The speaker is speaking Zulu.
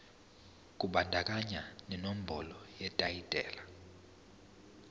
kubandakanya nenombolo yetayitela